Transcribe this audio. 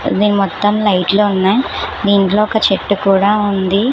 ఇది మొత్తం లైట్లో ఉన్నాయి దీంట్లో ఒక చెట్టు కూడా ఉంది.